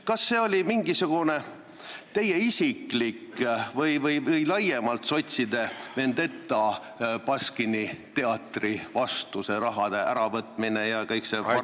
Kas see oli mingisugune teie isiklik või laiemalt sotside vendeta Baskini teatri vastu, see raha äravõtmine ja kõik see varasem ...